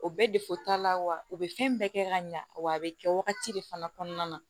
O bɛɛ t'a la wa u be fɛn bɛɛ kɛ ka ɲa wa a be kɛ wagati de fana kɔnɔna na